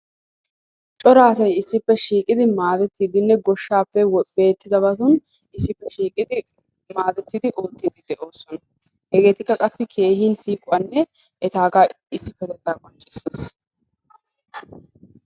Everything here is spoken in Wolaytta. Cora asay issippe shiiqidi maadettdiinne goshshaappe beettidabatun issippe shiiqidi maaddetidi oottiidedi de'ossona. Hegakka qassi keehin siiquwanne etaagaa issippetettaa qonccissees.